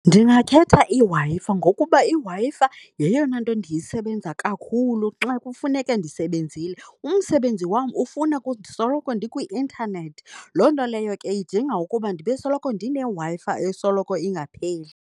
Ndingakhetha iWi-Fi ngokuba iWi-Fi yeyona nto ndiyesebenza kakhulu xa kufuneke ndisebenzile. Umsebenzi wam ufuna ndisoloko ndikwi-intanethi, loo nto leyo ke idinga ukuba ndibe soloko ndineWi-Fi esoloko ingapheli.